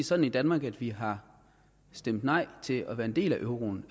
sådan i danmark at vi har stemt nej til at være en del af euroen